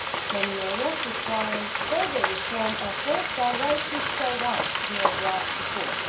Many areas requiring further reform efforts are rightly spelled out in your draft report.